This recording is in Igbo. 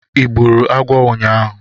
Ị gburu agwọ ụnyahụ